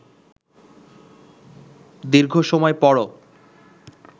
দীর্ঘ সময় পরও